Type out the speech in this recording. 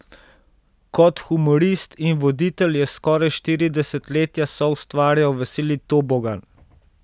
Kot humorist in voditelj je skoraj štiri desetletja soustvarjal Veseli tobogan.